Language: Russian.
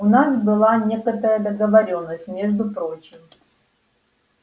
у нас была некоторая договорённость между прочим